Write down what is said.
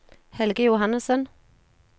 Helge Johannessen